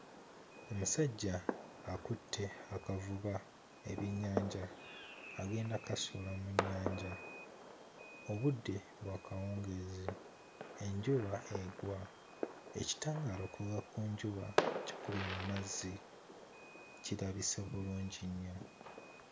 Omusajja akutte akavuba ebyennyanja agenda kkasuula mu nnyanja. Obudde bwa kawungeezi, enjuba egwa, ekitangaala okuva ku njuba kikubye mu mazzi. Kirabise bulungi nnyo.